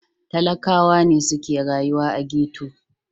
Talakawa ne suke rayuwa a ghetto.